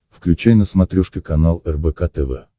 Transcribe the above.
включай на смотрешке канал рбк тв